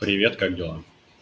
привет как дела